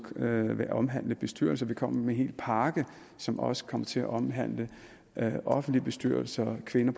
vil omhandle bestyrelser vi kommer med en hel pakke som også kommer til at omhandle offentlige bestyrelser kvinder